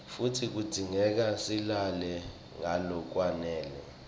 futsi kudzingeka silale ngalokwanele